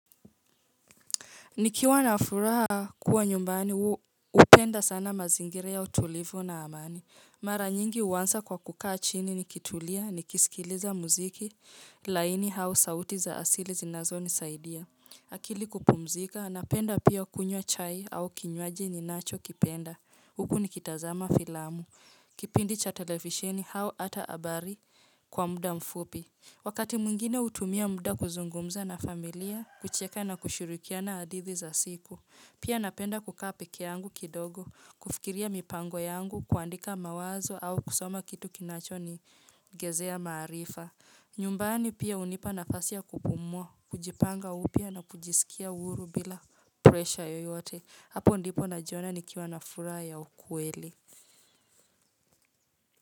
Nikiwa na furaha kua nyumbani, upenda sana mazingira ya utulivu na amani. Mara nyingi, uansa kwa kukaa chini ni kitulia, ni kisikiliza muziki, laini hao sauti za asili zinazonisaidia. Akili kupumzika, napenda pia kunywa chai au kinywaji ninacho kipenda. Huku nikitazama filamu. Kipindi cha televisheni hao ata abari kwa muda mfupi. Wakati mwingine utumia muda kuzungumza na familia, kucheka na kushirikiana hadithi za siku. Pia, napenda kukaa peke yangu kidogo, kufikiria mipango yangu, kuandika mawazo au kusoma kitu kinacho ni gezea maarifa. Nyumbani, pia unipa nafasi ya kupumua, kujipanga upya na kujisikia uhuru bila presha yeyote. Hapo ndipo najiona nikiwa na furaha ya ukweli.